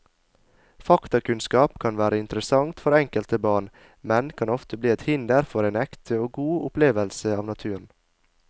Faktakunnskap kan være interessant for enkelte barn, men kan ofte bli et hinder for en ekte og god opplevelse av naturen.